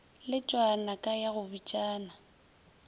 letšwa naka ya go bitšana